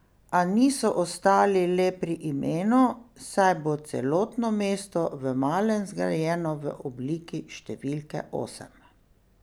A niso ostali le pri imenu, saj bo celotno mesto v malem zgrajeno v obliki številke osem.